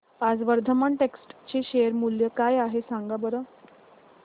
आज वर्धमान टेक्स्ट चे शेअर मूल्य काय आहे सांगा बरं